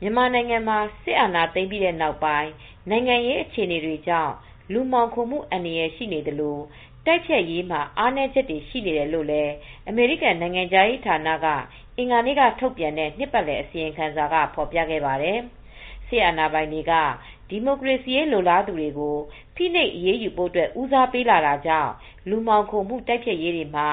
မြန်မာနိုင်ငံမှာ စစ်အာဏာသိမ်းပြီးနောက်ပိုင်း နိုင်ငံရေး အခြေအနေတွေကြောင့် လူမှောင်ခိုမှု အန္တရာယ်ရှိနေသလို၊ တိုက်ဖျက်ရေးမှာ အားနည်းချက်တွေ ရှိနေတယ်လို့လည်း အမေရိကန်နိုင်ငံခြားရေးဌာနက အင်္ဂါ နေ့ကထုတ်ပြန်တဲ့ နှစ်ပတ်လည် အစီရင်ခံစာက ဖော်ပြခဲ့ပါတယ် စစ်အာဏာပိုင်တွေဟာ ဒီမိုကရေစီရေး လိုလားသူတွေကို ဖိနှိပ်အရေးယူဖို့ ဦးစားပေးလာတာကြောင့် လူမှောင်ခိုမှု တိုက်ဖျက်ရေးမှာ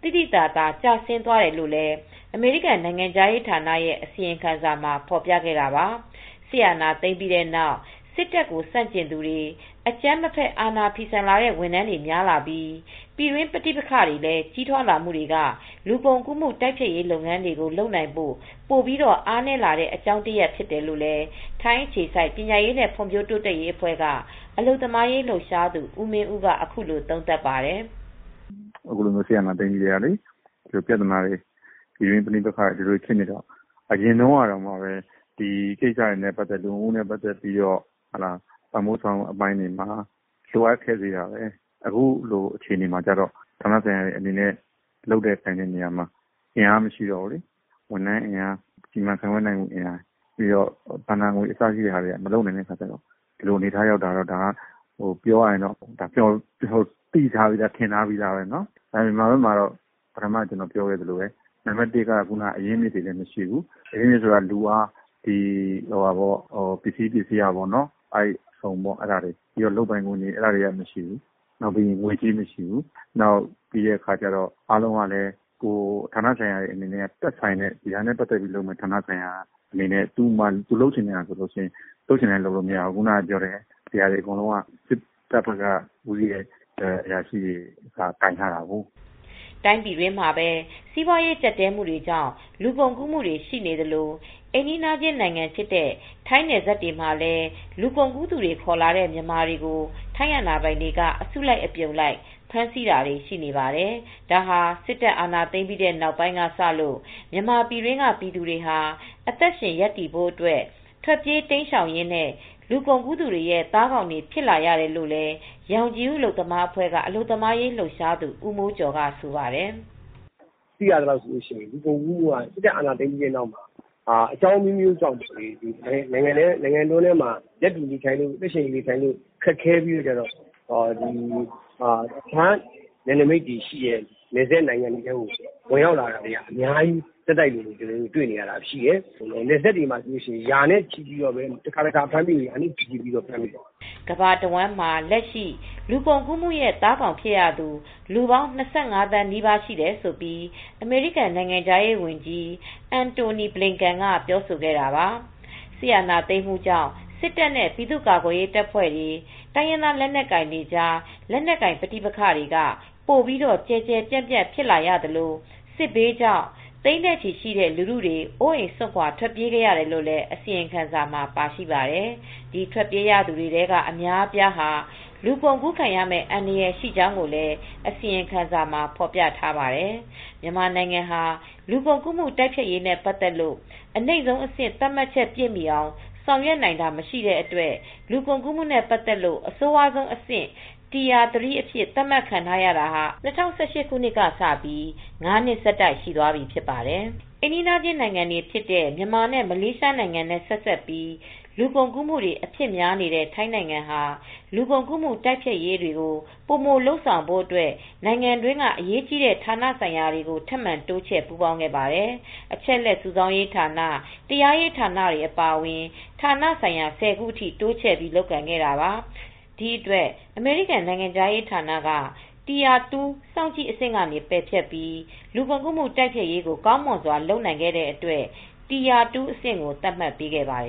သိသိသာသာ ကျဆင်းသွားတယ်လို့လည်း အမေရိကန်နိုင်ငံခြားရေးဌာနရဲ့အစီရင်ခံစာမှာ ဖော်ပြခဲ့တာပါ။စစ်အာဏာသိမ်းပြီးတဲ့နောက် စစ်တပ်ကိုဆန့်ကျင်သူတွေ အကြမ်းမဖက် အာဏာဖီဆန်လာတဲ့ဝန်ထမ်းတွေများလာပြီး ပြည်တွင်းပဋိပက္ခတွေ ကြီးထွားလာမူတွေကလည်း လူကုန်ကူးမူ့တိုက်ဖျက်ရေးလုပ်ငန်းတွေကို လုပ်နိုင်ဖို့ပိုပြီး အားနည်းလာတဲ့ အကြောင်းရင်းတရပ်ဖြစ်တယ်လို့ ထိုင်းအခြေစိုက် ပညာရေးနဲ့ ဖွံဖြိုးတိုးတက်ရေးအဖွဲ့က အလုပ်သမားရေး လှုပ်ရှားသူ ဦးမင်းဦးက အခုလိုသုံးသပ်ပါတယ် ။ " စစ်အာဏာသိမ်းပြီးကတည်းက ပြသနာတွေ ပြည်တွင်းပဋိပက္ခတွေရှိနေတာလေ ။ အရင်တုန်းကလည်း လူကုန်ကူးမူ့နဲ့ ပတ်သက်လို့ ပံ့ပိုးဆောင်ရွက်မူ့ အပိုင်းတွေမှာ လိုအပ်ချက်တွေရှိနေတာတွေ အားနည်းနေတာလေ။ အခုဆိုရင် ဌာနဆိုင်ရာအနေနဲ့ လုပ်တဲ့နေရာမှာ အင်အားမရှိတော့ဘူး။ ဝန်ထမ်းအင်အား စီမံခန့်ခွဲနိုင်မူ့ အင်အားဘဏ္ဍာငွေအစရှိတာ မလုံလောက်တော့ ဒီလိုအနေအထားတွေရှိမယ်ဆိုတာ ထင်ထားပြီးသားပါ ။ မြန်မာဘက်မှာတော့ အရင်းအမြစ်တွေမရှိဘူး။ အရင်းအမြစ်ဆိုတာ လူအင်အား ၊ ပစ္စည်းအင်အားတွေ အစုံလုပ်ပိုင်ခွင့်တွေမရှိဘူး။ ငွေကြေးမရှိဘူး။ သက်ဆိုင်တဲ့ ဌာနဆိုင်ရာတွေ အနေနဲ့လည်း သူတို့လုပ်ချင်တာလုပ်လို့မရဘူး။ ဒီဟာတွေ အကုန်လုံးကို စစ်တပ်က လူတွေကပဲ ကိုင်တွယ်ထားတာလေ" တိုင်းပြည်တွင်းမှာပဲ စီးပွားရေးကြပ်တည်းမူတွေကြောင့် လူကုန်ကူးမူတွေရှိနေသလို အိမ်နီးနားချင် းနိုင်ငံဖြစ်တဲ့ထိုင်းနယ်စပ်တွေမှာလည်း လူကုန်ကူးသူတွေ ခေါ်လာတဲ့မြန်မာတွေကို ထိုင်းအာဏာပိုင်တွေက အစုလိုက် အပြုံလိုက်ဖမ်းဆီးတာတွေရှိနေပါတယ် ။ ဒါဟာ စစ်တပ်အာဏာသိမ်းပြီးချိန် ကစလို့ မြန်မာပြည်တွင်းက ပြည်သူတွေဟာ အသက်ရှင် ရပ်တည်ဖို့အတွက် ထွက်ပြေးတိမ်းရှောင်ရင်း လူကုန်ကူးသူတွေရဲ့ သားကောင်တွေဖြစ်လာရတယ်လို့လည်း ရောင်ခြည်ဦး အလုပ်သမားအဖွဲ့က အလုပ်သမားရေးလှုပ်ရှားသူ ဦးမိုးကျော် ကလည်းဆိုပါတယ်။ "လူကုန်ကူးမူ့ကတော့ စစ်တပ်အာဏာသိမ်းပြီးကတည်းက အကြောင်းအမျိုးမျိုးကြောင့် နိုင်ငံတွင်းမှာ ရပ်တည်နေထိုင်ဖို့ အသက်ရှင်နေထိုင်ဖို့အတွက် ခက်ခဲတဲ့အတွက် တခြား နယ်နမိတ်နယ်စပ် တခြားနိုင်ငံတွေထဲကို ဝင်ရောက်လာတာတွေရှိတယ် ။ နယ်စပ်တွေထဲမှာ ရာနဲ့ချီရှိတဲ့ သူတွေဖမ်းမိနေကြတယ်" ကမ ္ဘာတဝှမ်းမှာ လက်ရှိ လူကုန်ကူးမှုရဲ့ သားကောင်းဖြစ်ရသူ လူပေါင်း ၂၅ သန်း နီးပါး ရှိတယ်လို့ အမေရိကန် နိုင်ငံခြားရေးဝန်ကြီး Antony Blinken က ပြောဆိုခဲ့တာပါ။ စစ်အာဏာသိမ်းမှုကြောင့် စစ်တပ်နဲ့ ပြည်သူ့ကာကွယ်ရေးတပ်ဖွဲ့တွေ၊ တိုင်ရင်းသားလက်နက်ကို်င်တွေကြား လက်နက်ကိုင် ပဋိပက္ခတွေ ပိုပြီးကျယ်ကျယ်ပြန့်ပြန့် ဖြစ်လာသလို့ စစ်ဘေးကြောင့် သိန်းနဲ့ချီရှိတဲ့ လူထုတွေ အိုးအိမ်စွန့်ခွါ ထွက်ပြေးခဲ့ရတယ်လို့ အစီရင်ခံစာမှာပါရှိပါတယ်။ ဒီထွက်ပြေးရသူတွေထဲက အများအပြားဟာ လူကုန်ကူးခံရမယ့် အန္တရာယ် ရှိကြောင်းလည်း အစီရင်ခံစာမှာ ဖော်ပြထားပါတယ်။မြန်မာနိုင်ငံဟာ လူကုန်ကူးမူ့ တိုက်ဖျက်ရေးနဲ့ ပတ်သက်လို့ အနိမ့်ဆုံးအဆင့် သတ်မှတ်ချက်ပြည့်မှီအောင် ဆောင်ရွက်နိုင်တာမရှိတဲ့အတွက် လူကုန်ကူးမူ့နဲ့ ပတ်သက်လို့ အဆိုးဝါးဆုံးဆင့် Tier 3 အဖြစ်သတ်မှတ်ခံထားရတာ အခုဆိုရင် ၅နှစ်ဆက်တိုက်ရှိသွားပြီဖြစ်ပါတယ်။ ့ အိမ်နီးနားချင်း နိုင်ငံတွေဖြစ်တဲ့ မြန်မာနဲ့ မလေးရှားနိုင်ငံနဲ့ ဆက်စပ်ပြီး လူကုန်ကူးမူတွေ အဖြစ်များနေတဲ့ ထိုင်းနိုင်ငံဟာ လူကုန်ကူးမူ တိုက်ဖျက်ရေးတွေကို ပိုမိုလုပ်ဆောင်ဖို့အတွက် နိုင်ငံတွင်းက အရေးကြီးတဲ့ ဌာနဆိုင်ရာတွေကို ထပ်မံတိုးချဲ ပူးပေါင်းခဲ့ပါတယ်။ အချက်အလက် စုဆောင်းရေးဌာန၊ တရားရေးဌာနတွေ အပါအအဝင် ဌာနဆိုင်ရာ ၁၀ခု အထိတိုးချဲ့ တာတွေကိုလုပ်ခဲ့တာပါ။ ဒီအတွက် အမေရိကန် နိုင်ငံခြားရေးဌာနက tire 2 စောင့်ကြည့်အဆင့် ကနေ ပယ်ဖျက်ပြီး လူကုန်ကူးမူ့တိုက်ဖျက်ရေးကို ကောင်မွန်စွာလုပ်နိုင်ခဲ့တဲ့အတွက် Tire 2 အဆင့်ကို သတ်မှတ်ပေးခဲ့ပါတယ်